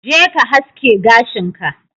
je ka haske gashin ka.